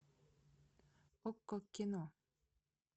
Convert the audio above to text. окко кино